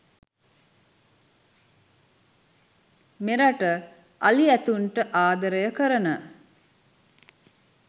මෙරට අලි ඇතුන්ට ආදරය කරන